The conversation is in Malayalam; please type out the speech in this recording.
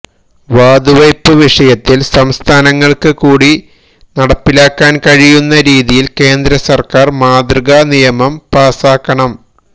വാതുവപ് വിഷയത്തില് സംസ്ഥാനങ്ങള്ക്ക് കൂടി നടപ്പിലാക്കാന് കഴിയുന്ന രീതിയില് കേന്ദ്രസര്ക്കാര് മാതൃകാ നിയമം പാസാക്കണം